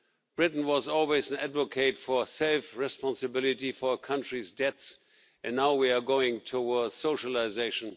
Britain was always an advocate for safe responsibility for countries' debts and now we are going towards socialisation.